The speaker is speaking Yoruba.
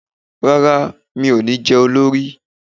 Rárá, mi ò ní jẹ́ olórí